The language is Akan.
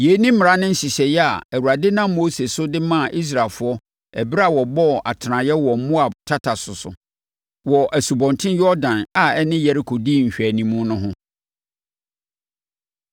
Yei ne mmara ne nhyehyɛeɛ a Awurade nam Mose so de maa Israelfoɔ ɛberɛ a wɔbɔɔ atenaeɛ wɔ Moab tata so so, wɔ Asubɔnten Yordan a ɛne Yeriko di nhwɛanimu no ho.